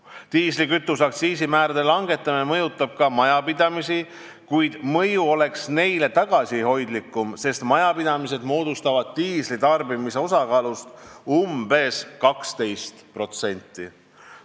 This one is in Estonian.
Diislikütuse aktsiisi määrade langetamine mõjutaks ka majapidamisi, kuid neile oleks mõju tagasihoidlikum, sest majapidamised moodustavad diisli tarbimise osakaalust umbes 12%.